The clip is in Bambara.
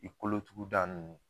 I kolotuguda ninnu.